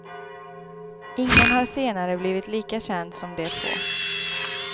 Ingen har senare blivit lika känd som de två.